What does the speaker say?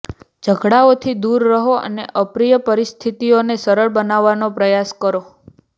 ઝઘડાઓથી દૂર રહો અને અપ્રિય પરિસ્થિતિઓને સરળ બનાવવાનો પ્રયાસ કરો